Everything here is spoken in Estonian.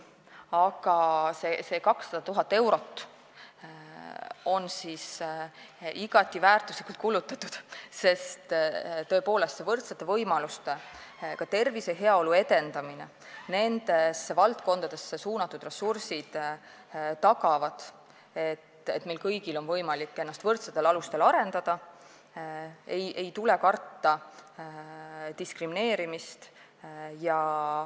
Aga see 200 000 eurot on igati väärtuslikult kulutatud, sest tõepoolest, võrdsete võimaluste, ka tervise ja heaolu edendamise valdkondadesse suunatud ressursid tagavad, et meil kõigil on võimalik ennast võrdsetel alustel arendada ega tule karta diskrimineerimist.